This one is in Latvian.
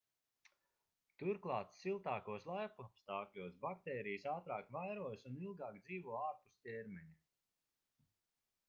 turklāt siltākos laikapstākļos baktērijas ātrāk vairojas un ilgāk dzīvo ārpus ķermeņa